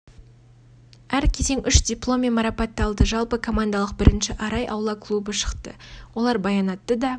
әр кезең үш диплом мен марапатталды жалпы командалық бірінші арай аула клубы шықты олар баянатты да